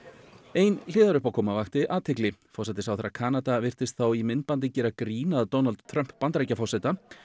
ein vakti athygli forsætisráðherra Kanada virtist þá í myndbandi gera grín að Donald Trump Bandaríkjaforseta